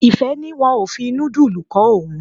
Ìfẹ́ ní wọn ò fi nudulu kó òun.